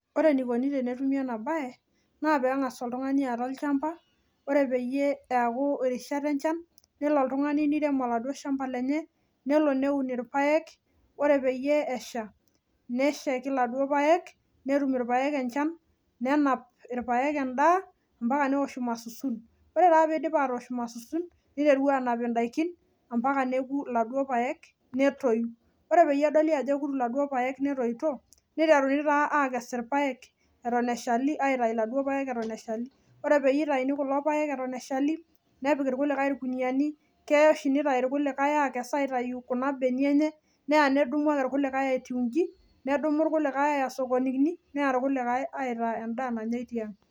Wore enikuni tenetumi ena baye, naa peengas oltungani aata olchamba, wore peyie eaku irishat enchan, nelo oltungani niirem oladuo shamba lenye, nelo neun irpaek, wore peyie esha, neshaiki iladuo paek, netum irpaek enchan, nenap irpaek endaa ambaka neosh irmasusun. Wore taa pee eidip atoosh irmasusun, niteru aanap indaikin ambaka neoku iladuo paek, netoyu. Wore peyie edol ajo euku iladuo paek netoito, niteruni taa aakes irpaek eton eshali, aitayu iladuo paek eton eshali. Wore peyie itauni kulo paek eton eshali, nepik irkulikae irkuniyiani, keya oshi nitayu irkulikae aakes aitayu kuna benia enye, neya nedumu ake irkulikae etiu iji, nedumu irkulikae aaya isokonini, neya irkulikae aitaa endaa nanyai tiang.